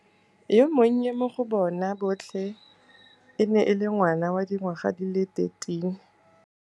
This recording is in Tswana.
Yo monnye mo go bona botlhe e ne e le ngwana wa dingwaga di le 13.